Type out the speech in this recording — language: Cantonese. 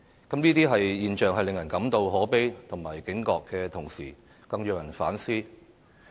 這些現象令人感到可悲和警覺的同時，更讓人反思。